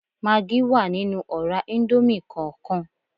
Magí wà nínú ọ̀rá íńdómì kọọkan